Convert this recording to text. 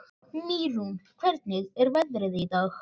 Mýrún, hvernig er veðrið í dag?